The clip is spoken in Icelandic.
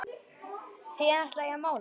Síðan ætla ég að mála.